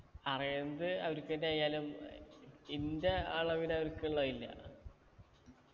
അറിയണത് അവർക്കെന്നെ ആയാലും ഏർ എന്റെ അളവിൽ അവർക്കുള്ള ഇല്ല